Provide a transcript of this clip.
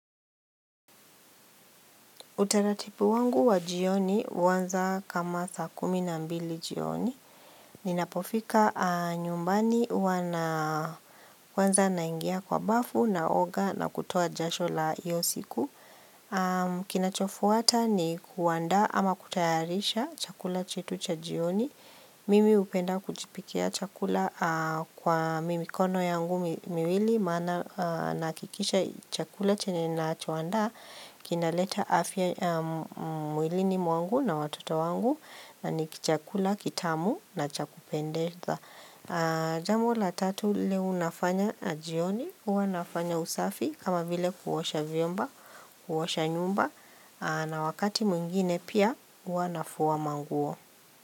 Utaratibu wangu wa jioni uanza kama saa kumi na mbili jioni. Ninapofika nyumbani huwa kwanza naingia kwa bafu naoga na kutoa jasho la hiyo siku. Kinachofuata ni kuandaa ama kutayarisha chakula chetu cha jioni. Mimi hupenda kujipikia chakula kwa mi mikono yangu miwili. Maana nahakikisha chakula chenye nacho andaa kinaleta afya mwilini mwangu na watoto wangu na ni kichakula kitamu na cha kupendeza jambo la tatu lile unafanya jioni huwa nafanya usafi kama vile kuosha vyumba kuosha nyumba na wakati mwingine pia huwa nafua manguo.